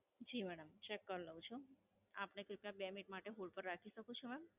જી madam, Check કરી લઉ છું. આપણે કૃપીયા બે મિનિટ માટે Hold પર રાખી શકું છું મેમ?